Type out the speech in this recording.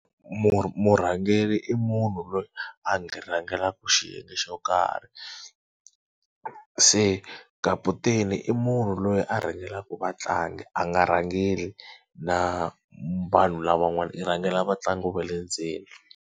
murhangeri i munhu loyi a rhangelaka xiyenge xo karhi. Se kaputeni i munhu loyi a rhangelaka vatlangi a nga rhangeri na vanhu lavan'wana i rhangela vatlangi va le ndzeni.